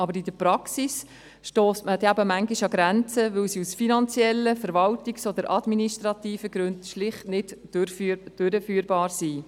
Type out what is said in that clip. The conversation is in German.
Aber in der Praxis stösst man dann eben manchmal an Grenzen, weil sie aus finanziellen, verwaltungstechnischen oder administrativen Gründen schlicht nicht durchführbar sind.